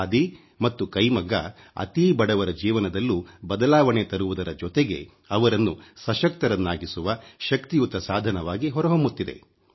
ಖಾದಿ ಮತ್ತು ಕೈಮಗ್ಗ ಅತೀ ಬಡವರ ಜೀವನದಲ್ಲೂ ಬದಲಾವಣೆ ತರುವುದರ ಜೊತೆಗೆ ಅವರನ್ನು ಸಶಕ್ತರನ್ನಾಗಿಸುವ ಶಕ್ತಿಯುತ ಸಾಧನವಾಗಿ ಹೊರಹೊಮ್ಮುತ್ತಿದೆ